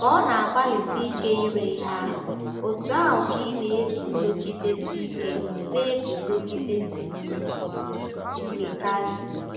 Ka ọ na-agbalịsi ike ire ihe ahụ, otú ahụ ka ị na-eguzogidesi ike na-eguzogidesi ike karị.